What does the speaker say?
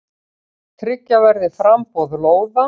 Tryggja verði framboð lóða.